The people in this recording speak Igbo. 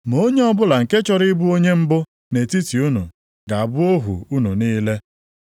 Ma onye ọbụla nke chọrọ ịbụ onye mbụ nʼetiti unu ga-abụ ohu unu niile.